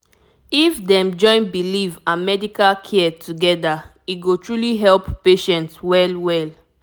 if dem join belief and medical care together e go truly help patient well well